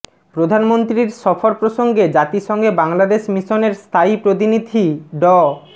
প্রধানমন্ত্রীর সফর প্রসঙ্গে জাতিসংঘে বাংলাদেশ মিশনের স্থায়ী প্রতিনিধি ড